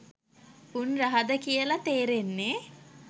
උන් රහද කියල තේරෙන්න.